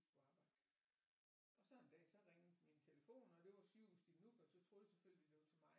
Skulle arbejde og så en dag så ringede min telefon og det var sygehuset i Nuuk og så troede jeg selvfølgelig at det var til mig